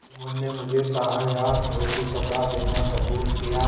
जुम्मन ने मुझे ताहयात रोटीकपड़ा देना कबूल किया